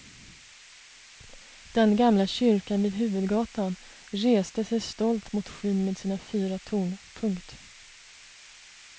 Den gamla kyrkan vid huvudgatan reste sig stolt mot skyn med sina fyra torn. punkt